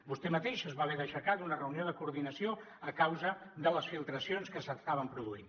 vostè mateix es va haver d’aixecar d’una reunió de coordinació a causa de les filtracions que s’estaven produint